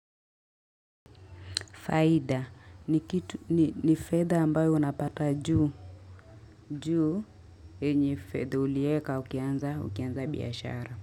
Faida ni fedha ambayo unapata juu enye fedha ulieka ukianza biashara.